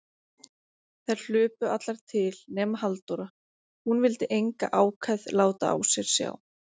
Þær hlupu allar til, nema Halldóra, hún vildi enga ákefð láta á sér sjá.